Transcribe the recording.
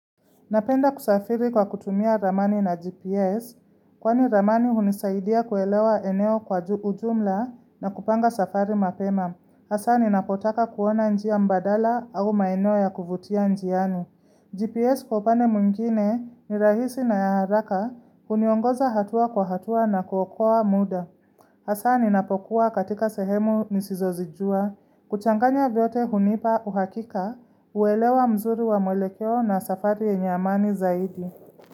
Napenda kusafiri kwa kutumia ramani na GPS, kwani ramani hunisaidia kuelewa eneo kwa ujumla na kupanga safari mapema. Hasa ni napotaka kuona njia mbadala au maeneo ya kuvutia njiani. GPS kwa upande mwingine ni rahisi na ya haraka, huniongoza hatua kwa hatua na kukoa muda. Hasaa ninapokuwa katika sehemu nisizozijua, kuchanganya vyote hunipa uhakika, uelewa mzuri wa mwelekeo na safari yenye amani zaidi.